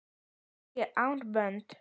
Afrísk armbönd?